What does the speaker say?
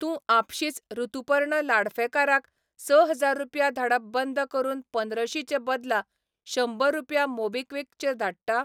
तूं आपशींच ऋतुपर्ण लाडफेकाराक स हजार रुपया धाडप बंद करून पंद्रशी चे बदला शंबर रुपया मोबीक्विक चेर धाडटा?